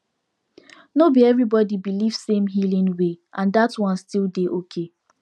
no be everybody believe same healing way and that one still dey okay